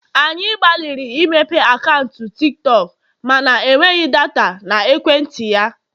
anyị gbalịrị imepe akaụntụ Tik tọk mana enweghị data na ekwentị ya